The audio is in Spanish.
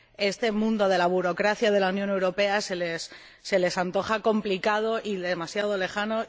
este mundo de la burocracia de la Unión Europea se les antoja complicado y demasiado lejano.